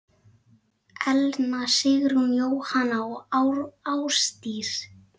Elna Sigrún, Jóhanna og Ásdís.